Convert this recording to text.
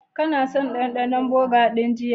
Kana son dandanon burger din jiya?